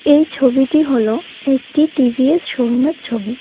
এই ছবিটি হল একটি টি_ভি_এস শোরুমের ছবি।